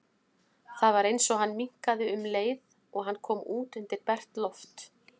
Það var eins og hann minnkaði um leið og hann kom út undir bert loft.